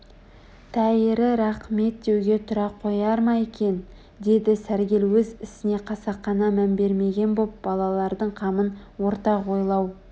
тәйірі рақмет деуге тұра қояр ма екен деді сәргел өз ісіне қасақана мән бермеген боп балалардың қамын ортақ ойлау